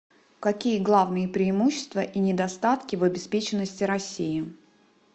какие главные преимущества и недостатки в обеспеченности россии